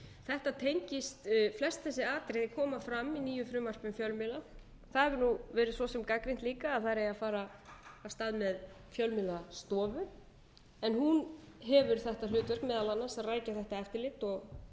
þetta tengist flest þessi atriði koma fram í nýju frumvarpi um fjölmiðla það hefur nú svo sem verið gagnrýnt líka að þar eigi að fara af stað með fjölmiðlastofu en hún hefur þetta hlutverk meðal annars að rækja þetta eftirlit og